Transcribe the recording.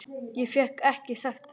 Ég hef ekki sagt það!